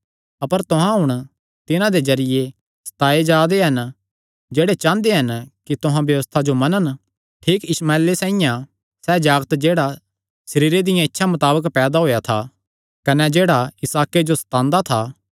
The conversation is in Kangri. अपर तुहां हुण तिन्हां दे जरिये सताये जा दे हन जेह्ड़े चांह़दे हन कि तुहां व्यबस्था जो मनन ठीक इशमाएले साइआं सैह़ जागत जेह्ड़ा सरीरे दिया इच्छा मताबक पैदा होएया था कने जेह्ड़ा इसहाके जो सतांदा था